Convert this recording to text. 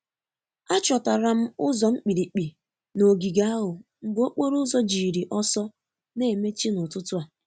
Achọtala m ụzọ mkpirikpi n’ogige ahụ mgbe okporo ụzọ jiri ọsọ na-emechi n’ụtụtụ a.